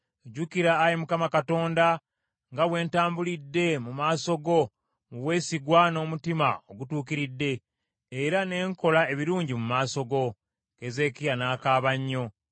“Jjukira, Ayi Mukama Katonda, nga bwe ntambulidde mu maaso go mu bwesigwa n’omutima ogutuukiridde, era ne nkola ebirungi mu maaso go.” Keezeekiya n’akaaba nnyo.